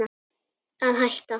Að hætta?